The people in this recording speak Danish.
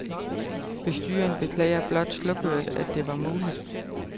Bestyreren beklager blot slukøret, at det var muligt